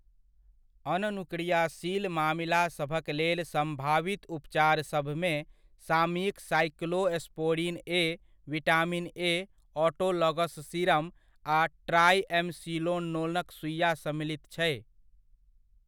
अननुक्रियाशील मामिलासभक लेल सम्भावित उपचारसभमे सामयिक cyclosporine A, vitamin A, autologous serum आ ट्राइएमसिनोलोनक सुइआ सम्मिलित छै।